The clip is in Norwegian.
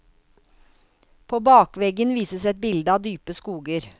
På bakveggen vises et bilde av dype skoger.